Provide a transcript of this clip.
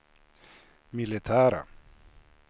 militära